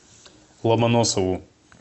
ломоносову